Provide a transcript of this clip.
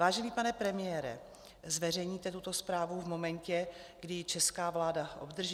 Vážený pane premiére, zveřejníte tuto zprávu v momentě, kdy ji česká vláda obdrží?